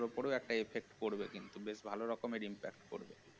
ওটারও একটা effect করবে বেশ ভাল রকমের effect পড়বে